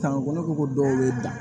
Kan kɔnɔ ko dɔw bɛ dan